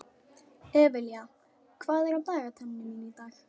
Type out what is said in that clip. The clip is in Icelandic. Evelía, hvað er á dagatalinu mínu í dag?